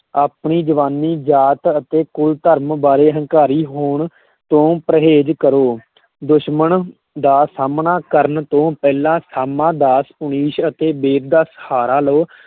ਆਪਣੀ ਜਵਾਨੀ, ਜਾਤ ਅਤੇ ਕੁਲ ਧਰਮ ਬਾਰੇ ਹੰਕਾਰੀ ਹੋਣ ਤੋਂ ਪਰਹੇਜ਼ ਕਰੋ ਦੁਸ਼ਮਣ ਦਾ ਸਾਹਮਣਾ ਕਰਨ ਤੋਂ ਪਹਿਲਾਂ, ਸਾਮਾ, ਦਾਸ, ਪੁਨੀਸ਼ ਅਤੇ ਬੇਦ ਦਾ ਸਹਾਰਾ ਲਓ,